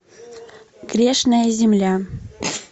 грешная земля